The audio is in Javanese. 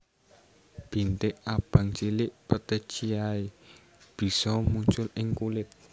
Bintik abang cilik petechiae bisa muncul ing kulit